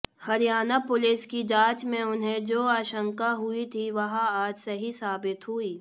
Haryana police की जांच में उन्हें जो आशंका हुई थी वह आज सही साबित हुई